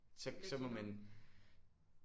Så så må man